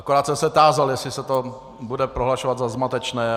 Akorát jsem se tázal, jestli se to bude prohlašovat za zmatečné.